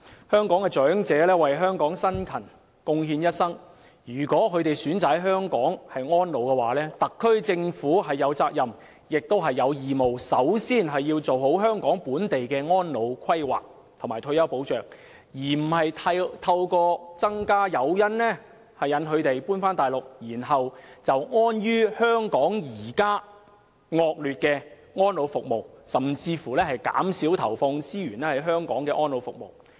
香港長者為香港辛勤貢獻一生，他們有權選擇在香港安老，特區政府有責任及義務首先做好本地的安老規劃及退休保障，而不是提供更多誘因吸引他們遷往大陸，更不應安於香港現時惡劣的安老服務，甚至減少投放資源於香港安老服務上。